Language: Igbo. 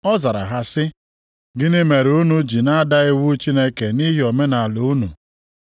Ọ zara ha sị, “Gịnị mere unu ji na-ada iwu Chineke nʼihi omenaala unu?